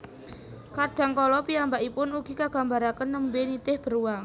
Kadang kala piyambakipun ugi kagambaraken nembé nitih beruang